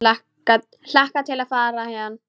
Hlakka til að fara héðan.